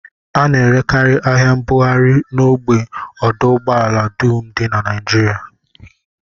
A na-erekarị ahịa mbugharị n'ógbè ọdụụgbọala dum dị na Naijiria